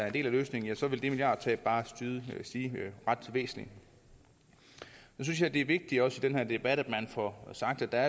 en del af løsningen så vil det milliardtab bare stige ret væsentligt nu synes jeg det er vigtigt i den her debat at man får sagt at der